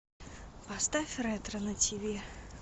поставь ретро на тиви